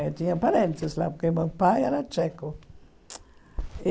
Eu tinha parentes lá, porque meu pai era tcheco.